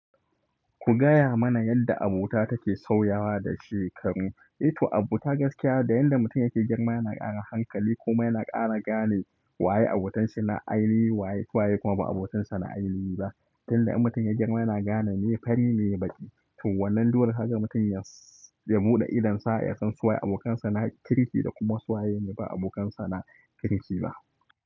Ku gaya mana yadda abota take sauyawa da shekaru. E to abota gaskiya da yadda mutum yake girma yana kara hankali kuma yana kara gane waye abokanshi na ainihi waye kuma ba abokansa na ainihi ba. Tun da in mutum ya girma yana gane me fari me baƙi. To wannan dole kaga mutum ya buɗe idonsa ya san su waye abokansa na kirki da kuma su waye ne ba abokansa na kirki ba.